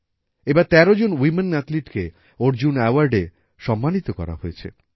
এবার তের জন ওয়ামেন অ্যাথলিটকে অর্জুন অ্যাওয়ার্ডে সম্মানিত করা হয়েছে